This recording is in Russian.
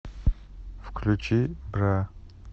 включи бра